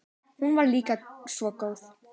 Hún var líka svo góð.